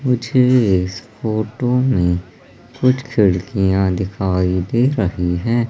मुझे इस फोटो में कुछ खिड़कियां दिखाई दे रही है।